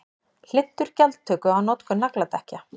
Hlynntur gjaldtöku á notkun nagladekkja